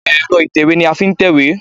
Ẹ̀rọ ìtẹ̀wé ni a fi n tèwé